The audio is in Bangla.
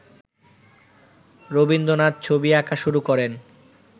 রবীন্দ্রনাথ ছবি আঁকা শুরু করেন